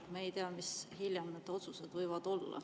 Me ei tea, mis otsused hiljem võivad.